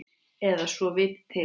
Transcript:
Eða svo til.